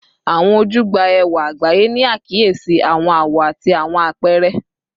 Awọn oju gba ẹwa agbaye, ni akiyesi awọn awọ ati awọn apẹrẹ